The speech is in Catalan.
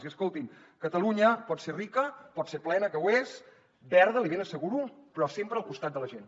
i escolti’m catalunya pot ser rica pot ser plena que ho és verda l’hi ben asseguro però sempre al costat de la gent